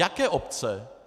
Jaké obce?